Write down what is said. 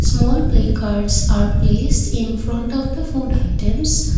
small play cards are placed in front of the food items.